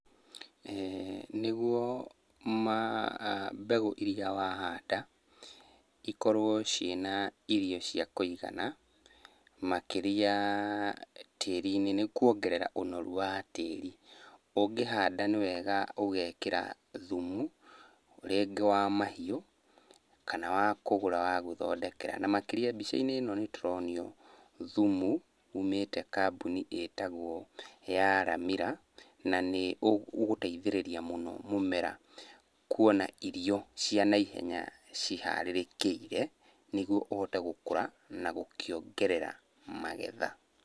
Nĩguo mbegũ iria wahanda ikorwo ciĩna irio cia kũigana makĩria tĩri-inĩ nĩ kuongerera ũnoru wa tĩri. Ũngĩhanda nĩ wega ũgekĩra thumu rĩngĩ wa mahiũ kana wa kũgũra wa gwĩthondekera. Na makĩria mbica-inĩ ĩno nĩtũronio thumu umĩte kambũni ĩtagwo ya Ramira, na nĩũgũteithĩrĩria mũno mũmera kuona irio cia naihenya ciharĩrĩkĩire nĩguo ũhote gũkũra na gũkĩongerera magetha.